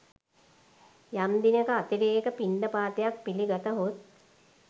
යම් දිනක අතිරේක පිණ්ඩපාතයක් පිළිගතහොත්